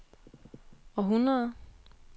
århundrede